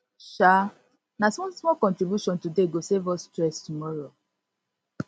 um na smallsmall contribution today go save us stress tomorrow